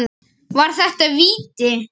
Var þetta víti?